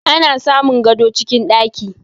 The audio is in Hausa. Ana samun gado cikin ɗaki